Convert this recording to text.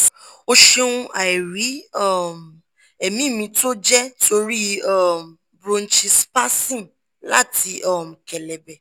o ṣeun airi um emi mi to je tori um bronchi spasm lati um kelebe